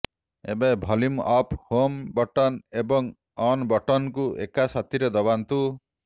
ଏବେ volume up home button ଏବଂ on ବଟନକୁ ଏକା ସାଥିରେ ଦବାନ୍ତୁ